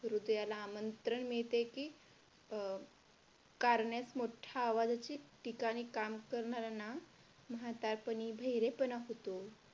हृदयाला आमंत्रण मिळते की अं कारण्यात मोठ्या आवाजाची ठिकाणी काम करणाऱ्यांना म्हातारपणी बहिरेपणा होतो.